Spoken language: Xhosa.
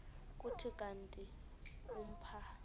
kuthi kanti umpha